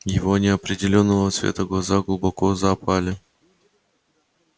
его неопределённого цвета глаза глубоко запали